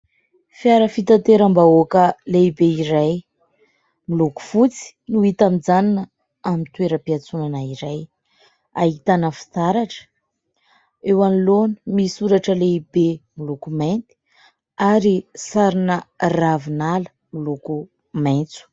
Fiara fitanteram-bahoaka lehibe iray miloko fotsy no hita mijanona amin'ny toeram-piantsonana iray. Ahitana fitaratra. Eo anoloana misy soratra lehibe miloko mainty ary sarina ravinala miloko maitso.